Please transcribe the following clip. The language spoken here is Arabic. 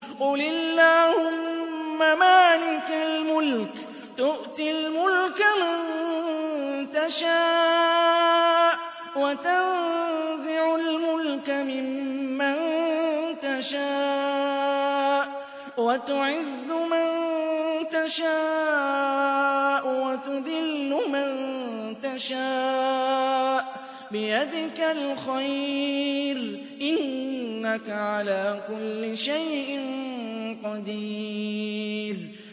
قُلِ اللَّهُمَّ مَالِكَ الْمُلْكِ تُؤْتِي الْمُلْكَ مَن تَشَاءُ وَتَنزِعُ الْمُلْكَ مِمَّن تَشَاءُ وَتُعِزُّ مَن تَشَاءُ وَتُذِلُّ مَن تَشَاءُ ۖ بِيَدِكَ الْخَيْرُ ۖ إِنَّكَ عَلَىٰ كُلِّ شَيْءٍ قَدِيرٌ